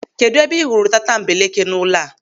Kedụ ebe ị hụrụ tatambeleke n'ụlọ a?